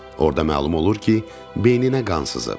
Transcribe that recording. Orda məlum olur ki, beyninə qan sızıb.